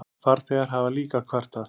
Farþegar hafa líka kvartað.